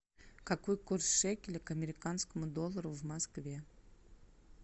какой курс шекеля к американскому доллару в москве